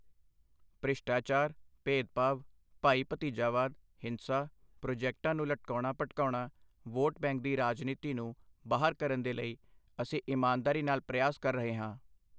ਭ੍ਰਿਸ਼ਟਾਚਾਰ, ਭੇਦਭਾਵ, ਭਾਈ ਭਤੀਜਾਵਾਦ, ਹਿੰਸਾ, ਪ੍ਰੋਜੈਕਟਾਂ ਨੂੰ ਲਟਕਾਉਣਾ ਭਟਕਾਉਣਾ, ਵੋਟ ਬੈਂਕ ਦੀ ਰਾਜਨੀਤੀ ਨੂੰ ਬਾਹਰ ਕਰਨ ਦੇ ਲਈ ਅਸੀਂ ਇਮਾਨਦਾਰੀ ਨਾਲ ਪ੍ਰਯਾਸ ਕਰ ਰਹੇ ਹਾਂ।